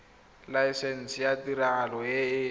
laesense ya tiragalo e e